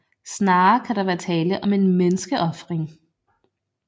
Snarere kan der være tale om en menneskeofring